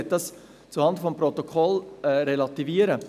Ich möchte dies zuhanden des Protokolls relativieren.